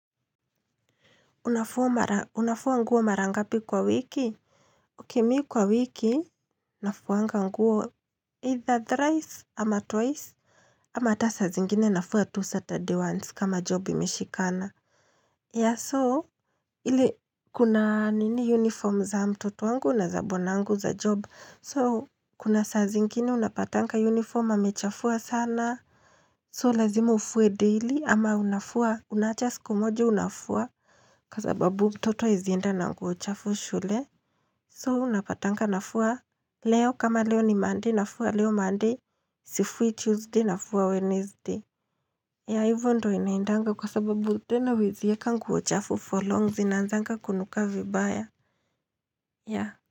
Unafua nguo mara ngapi kwa wiki? Okay mi kwa wiki Nafuanga nguo either thrice ama twice ama ata saa zingine nafua tu Saturday ones kama job imeshikana. Yeah so, kuna nini uniform za mtoto wangu na za bwanangu za job. So, kuna saa zingine unapatanga uniform amechafua sana So, lazima ufue daily ama unafua Unaacha siku moja unafua kwa sababu mtoto hawezi enda na nguo chafu shule. So unapatanga nafua leo kama leo ni monday nafua leo monday sifui Tuesday nafua Wednesday. Ya hivyo ndo inaindanga kwa sababu tena weziyeka nguochafu for long zinanzanga kunuka vibaya. Ya.